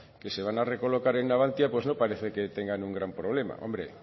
que se van a recolocar en navantia pues no parece que tengan un gran problema hombre